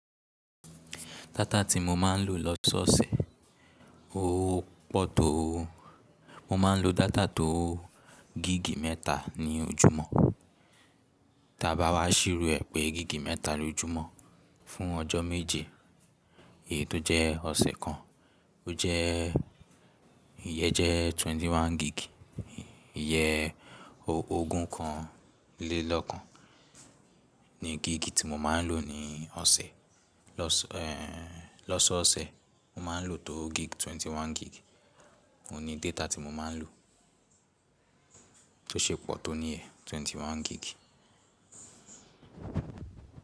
Data tí mo máa ń lò lọ́sọ̀ọ̀sẹ̀, ó pọ̀ tó, mo máa ń lo data tó gíìgì mẹ́ta ní ojúmọ́. Tí a bá wá ṣìró ẹ̀ pẹ gíìgì mẹ́ta lójúmọ́ fún ọjọ́ méje, èyí tó jẹ́ ọ̀sẹ̀ kan, ó jẹ́, ìyẹ́ jẹ́ twenty one gig, ìyẹ́ ogún kan lé lọ́kan ni gíìgì tí mo máa ń lò ní ọ̀sẹ̀. Lọ́sọ̀ọ̀sẹ̀, mo máa ń lò tó gíìgì twenty one gig, òun ni data tí mo máa ń lò, tó ṣe pọ̀ tó níyẹ̀ twenty one gig.